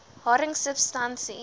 haring substansie l